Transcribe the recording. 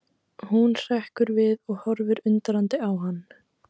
Hún hrekkur við og horfir undrandi á hann.